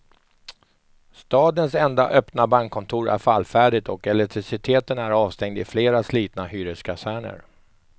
Stadens enda öppna bankkontor är fallfärdigt och elektriciteten är avstängd i flera slitna hyreskaserner.